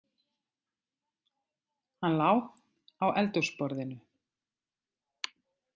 Hann lá á eldhúsborðinu.